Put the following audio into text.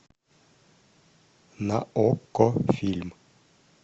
на окко фильм